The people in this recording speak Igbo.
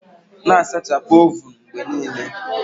Na-asachapụ ovun mgbe niile.